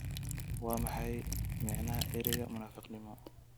Waa maxay macnaha erayga munaafaqnimo?